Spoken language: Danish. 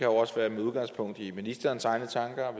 også være med udgangspunkt i ministerens egne tanker